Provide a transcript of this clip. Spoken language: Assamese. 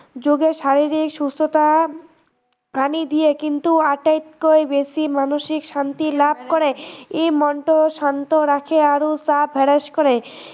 যোগে শাৰিৰীক সুস্থতা আনি দিয়ে কিন্তু আটাইতকৈ বেছি মানসিক শান্তি লাভ কৰে, ই মনটো শান্ত ৰাখে আৰু কৰে